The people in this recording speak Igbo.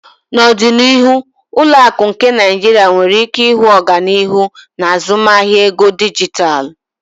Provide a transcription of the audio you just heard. N'ọdịnihu ụlọ akụ nke Nigeria nwere ike ịhụ ọganihu n'azụmahịa ego dijitalụ.